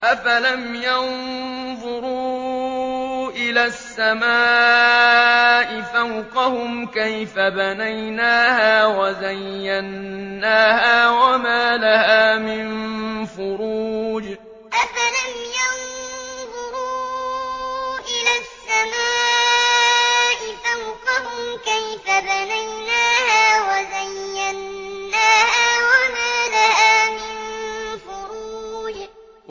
أَفَلَمْ يَنظُرُوا إِلَى السَّمَاءِ فَوْقَهُمْ كَيْفَ بَنَيْنَاهَا وَزَيَّنَّاهَا وَمَا لَهَا مِن فُرُوجٍ أَفَلَمْ يَنظُرُوا إِلَى السَّمَاءِ فَوْقَهُمْ كَيْفَ بَنَيْنَاهَا وَزَيَّنَّاهَا وَمَا لَهَا مِن فُرُوجٍ